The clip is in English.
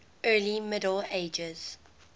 early middle ages